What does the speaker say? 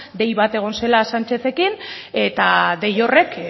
dei bat egon zela sanchezekin eta dei horrek